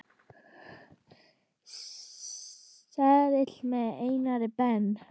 seðil með Einari Ben.